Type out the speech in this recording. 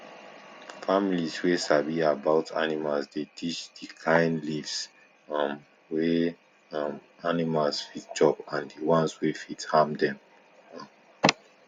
families wey sabi about animals dey teach d kain leaves um wey um animals fit chop and the ones wey fit harm dem um